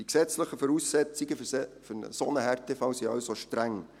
Die gesetzlichen Voraussetzungen für einen solchen Härtefall sind somit streng.